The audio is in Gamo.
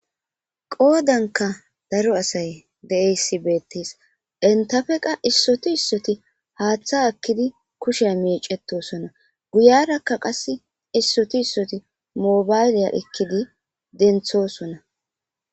qoodanka daro asay de7eyssi beettees entafe qa issotu issoti haaththa akkidi kushe miicetosona guyarakka qass issotu issoti mobayleya ekkidi denthosona